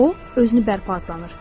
O, özünü bərpa adlanır.